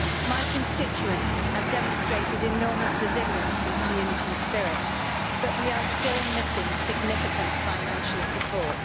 My constituents have demonstrated enormous resilience and community spirit but we are still missing significant financial support.